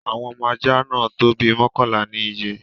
Awọn ọmọ ajá náà tó bí mọkanla ni iyé́